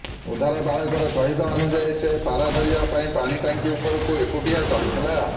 ଉଦ୍ଧାର ବାଳକର କହିବା ଅନୁଯାୟୀ ସେ ପାରା ଧରିବା ପାଇଁ ପାଣି ଟାଙ୍କି ଉପରକୁ ଏକୁଟିଆ ଚଢିଥିଲା